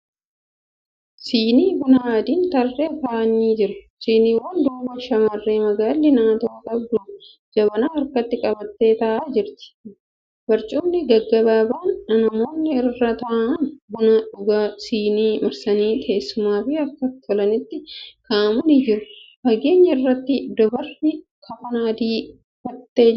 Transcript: Sinii bunaa adiin tarreen taa'anii jiru. Siniiwwan duuba shamarree magaalli naatoo qabdu jabanaa harkatti qabattee taa'aa jirti. Barcumni gaggabaaban namoonni irra taa'anii buna dhugan sinii marsanii teessumaaf akka tolanitti kaa'amanii jiru. Faageenya irratti. dubarri kafana adii uffatti jirti.